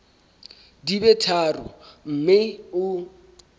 di be tharo mme o